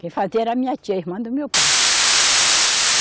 Quem fazia era a minha tia, irmã do meu pai.